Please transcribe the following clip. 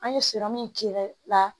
An ye la